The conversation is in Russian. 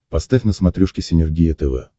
поставь на смотрешке синергия тв